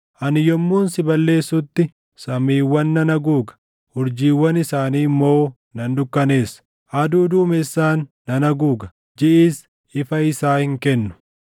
Ani yommuun si balleessutti samiiwwan nan haguuga; urjiiwwan isaanii immoo nan dukkaneessa; aduu duumessaan nan haguuga; jiʼis ifa isaa hin kennu.